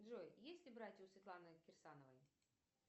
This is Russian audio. джой есть ли братья у светланы кирсановой